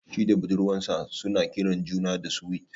Shi da budurwar sa su na kiran juna da "Sweet ".